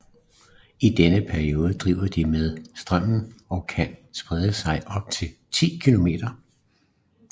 I denne periode driver de med strømmen og kan sprede sig op til 10 km